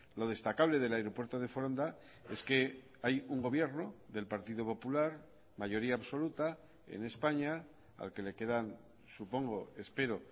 lo destacable del aeropuerto de foronda es que hay un gobierno del partido popular mayoría absoluta en españa al que le quedan supongo espero